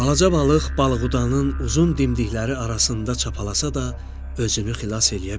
Balaca balıq balıqudanın uzun dimdikləri arasında çapalasa da, özünü xilas eləyə bilmədi.